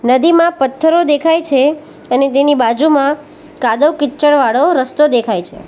નદીમાં પથ્થરો દેખાય છે અને તેની બાજુમાં કાદવ કિચડ વાળો રસ્તો દેખાય છે.